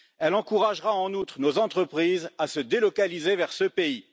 Elle encouragera en outre nos entreprises à se délocaliser vers ce pays.